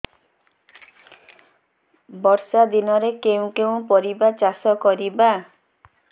ବର୍ଷା ଦିନରେ କେଉଁ କେଉଁ ପରିବା ଚାଷ କରିବା